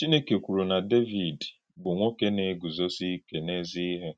Chínèkè kwùrù na Dévìd bụ̀ nwòké na-egùzósì íké n’èzí-íhè.